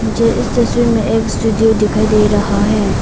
मुझे इस तस्वीर में एक स्टूडियो दिखाई दे रहा है।